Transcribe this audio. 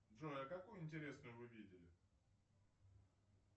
джой а какую интересную вы видели